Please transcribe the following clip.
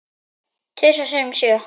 Tvisvar sinnum sjö.